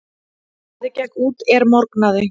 Daði gekk út er morgnaði.